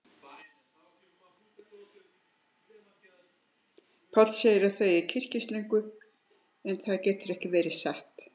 Páll segir að þau eigi kyrkislöngu, en það getur ekki verið satt.